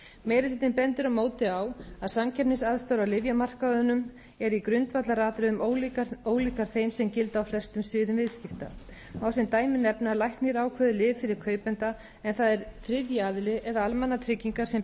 meiri hlutinn bendir á móti á að samkeppnisaðstæður á lyfjamarkaðnum eru í grundvallaratriðum ólíkar þeim sem gilda á flestum sviðum viðskipta má sem dæmi nefna að læknir ákveður lyf fyrir kaupanda en það er þriðji aðili eða almannatryggingar sem ber